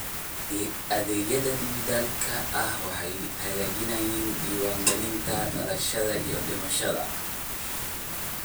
Adeegyada dijitaalka ah waxay hagaajiyaan diiwaangelinta dhalashada iyo dhimashada.